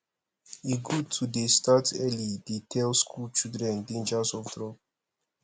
e good to dey start early dey tell skool children dangers of drug